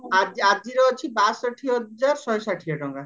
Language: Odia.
ଆଜି ଆଜିର ଅଛି ବାଷଠି ହଜାର ଶହେ ଷାଠିଏ ଟଙ୍କା